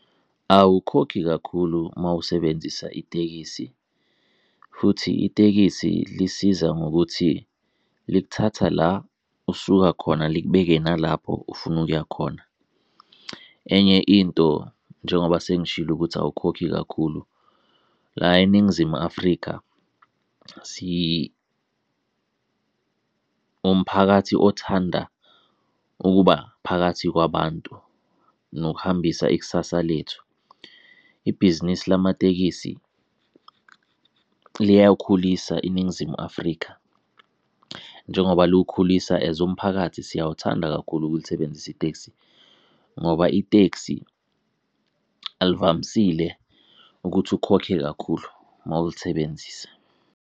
Awukhokhi kakhulu mowusebenzisa itekisi futhi itekisi lisiza ngokuthi likuthatha la osuka khona likubeke nalapho ufuna ukuya khona. Enye into njengoba sengishilo ukuthi awukhokhi kakhulu, la eNingizimu Afrika umphakathi othanda ukuba phakathi kwabantu nokuhambisa ikusasa lethu. Ibhizinisi lamatekisi liyawukhulisa iNingizimu Afrika, njengoba luwukhulisa as umphakathi siyawuthanda kakhulu ukulisebenzisa itekisi ngoba itekisi alivamisile ukuthi ukhokhe kakhulu mawulisebenzisa.